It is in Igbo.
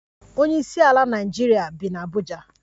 Onyeisiala Naịjirịa bi n'Abuja